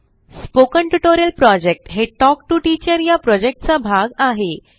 spoken tutorial project हे talk to teacher या प्रॉजेक्टचा भाग आहे